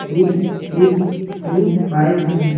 to two two five --